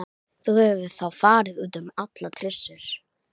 Nema náttúrlega hvað það heyrist mikið niður, segir Sigga.